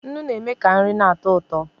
Nnu na-eme ka nri na-atọ ụtọ